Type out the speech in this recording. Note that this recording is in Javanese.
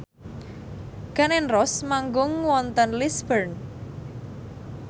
Gun n Roses manggung wonten Lisburn